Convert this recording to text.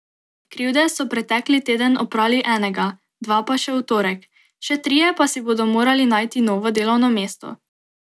Krivde so pretekli teden oprali enega, dva pa še v torek, še trije pa si bodo morali najti novo delovno mesto.